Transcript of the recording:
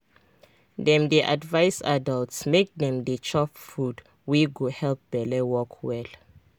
dem dey advise adults make dem dey chop food wey go help belle work well.